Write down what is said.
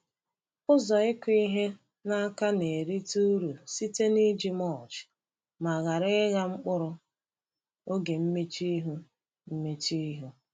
Ụzọ ịkụ ihe n’aka na-erite uru site n’iji mulch ma ghara ịgha mkpụrụ oge mmechuihu. mmechuihu.